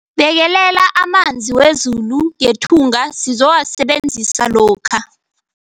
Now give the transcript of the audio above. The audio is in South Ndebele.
Bekelela amanzi wezulu ngethunga sizowasebenzisa lokha.